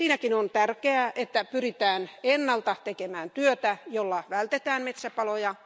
Siinäkin on tärkeää, että pyritään ennalta tekemään työtä, jolla vältetään metsäpaloja.